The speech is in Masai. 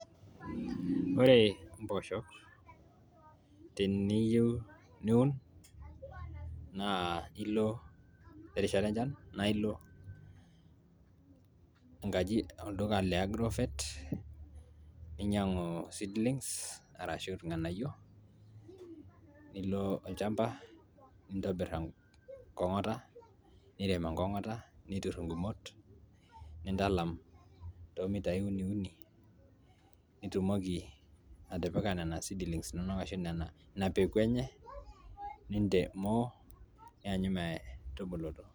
ore imposhok teniyieu niun naa ilo terishata enchan naa ilo enkaji olduka le agrovet ninyiang'u seedlings arashu irnganayio nilo olchamba nintobirr enkong'ota nirem enkong'ota niturr ingumot nintalam toomitai uni uni nitumoki atipika nena seedlings inonok ashu ina peku enye nintemoo nianyu metubulutu.